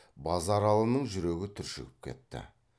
базаралының жүрегі түршігіп кетті